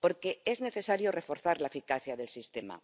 Porque es necesario reforzar la eficacia del sistema,